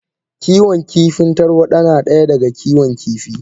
Kiwon kifin tarwada na daya daga Kiwon kifi.